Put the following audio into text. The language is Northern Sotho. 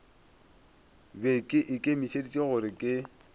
be ke ikemišeditše gore ke